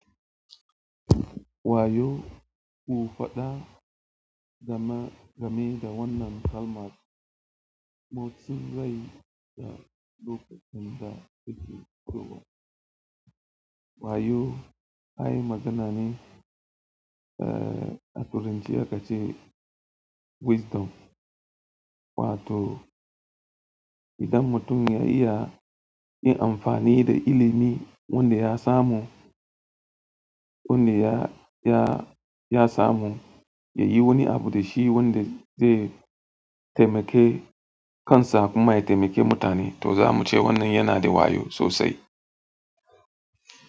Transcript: Wa yau ke fada game da wannan kalmar na ci zan yu da lokaci da ta ke kaiwa. Wayoo, ai magana ne, ah, a turance aka ce wisdom wato idan mutum ya iya yin amfani da ilimin wanda ya samu, wanda ya, ya, ya samu, ya yi wani abu da shi wanda zai taimake kansa kuma ya taimake mutane to zamu ce wannan ya na da wayo sosai.